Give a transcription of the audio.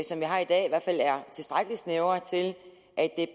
som vi har i dag i hvert fald er tilstrækkelig snævre til at